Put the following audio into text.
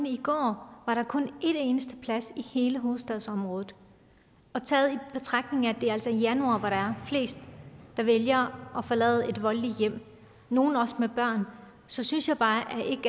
i går var der kun en eneste plads i hele hovedstadsområdet taget i betragtning at det altså er januar hvor der er flest der vælger at forlade et voldeligt hjem nogle også med børn så synes jeg bare